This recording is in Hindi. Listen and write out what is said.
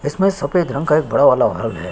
इसमें सफ़ेद रंग का एक बड़ा वाला घर है।